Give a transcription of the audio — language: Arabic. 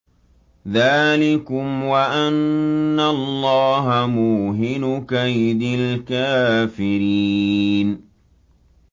ذَٰلِكُمْ وَأَنَّ اللَّهَ مُوهِنُ كَيْدِ الْكَافِرِينَ